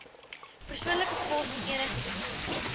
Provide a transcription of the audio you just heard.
persoonlike pos enigiets